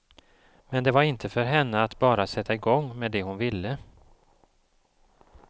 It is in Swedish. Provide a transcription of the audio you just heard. Men det var inte för henne att bara sätta igång med det hon ville.